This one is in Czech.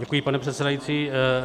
Děkuji, pane předsedající.